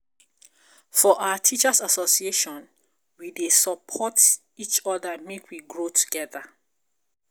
For our teachers association, we dey support each oda make we grow togeda.